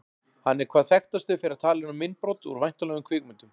Hann er hvað þekktastur fyrir að tala inn á myndbrot úr væntanlegum kvikmyndum.